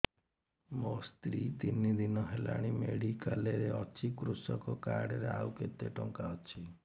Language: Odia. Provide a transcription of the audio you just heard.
ମୋ ସ୍ତ୍ରୀ ତିନି ଦିନ ହେଲାଣି ମେଡିକାଲ ରେ ଅଛି କୃଷକ କାର୍ଡ ରେ ଆଉ କେତେ ଟଙ୍କା ଅଛି